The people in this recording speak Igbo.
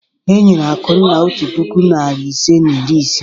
E nyere Akunna otu puku, narị ise na iri isii.